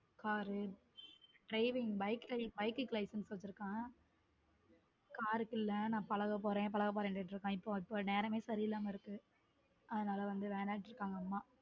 Car driving bike க்கு licence வச்சிருக்கான் car க்கு இல்லை நான் பழகப் போறேன் பழகப் போறேன் சொல்லிட்டு இருக்கான் இப்ப நேரமே சரியில்லாம இருக்கு அதனால வந்து வேன்னம்ட்டாங்க அம்மா.